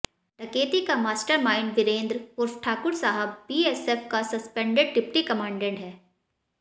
डकैती का मास्टरमाइंड वीरेंद्र उर्फ ठाकुर साहब बीएसएफ का सस्पैंडेड डिप्टी कमांडेड है